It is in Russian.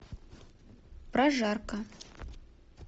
прожарка